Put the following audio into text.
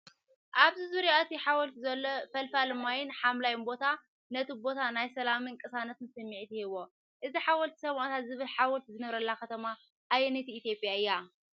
ኣብ ዙርያ እቲ ሓወልቲ ዘሎ ፈልፋሊ ማይን ሓምላይ ቦታን ነቲ ቦታ ናይ ሰላምን ቅሳነትን ስምዒት ይህቦ። እዚ "ሓወልቲ ሰማእታት" ዝብል ሓወልቲ ዝነብረላ ከተማ ኣየነይቲ ኢትዮጵያ እያ?